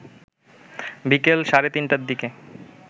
বিকেল সাড়ে তিনটার দিকে